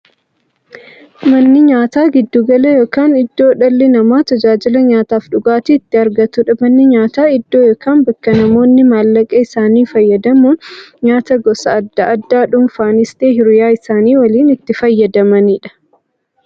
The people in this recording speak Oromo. Manni nyaataa giddu gala yookiin iddoo dhalli namaa taajila nyaataafi dhugaatii itti argatuudha. Manni nyaataa iddoo yookiin bakka namoonni maallaqa isaanii fayyadamuun nyaataa gosa addaa addaa dhunfanis ta'ee hiriyyaa isaanii waliin itti fayyadamaniidha.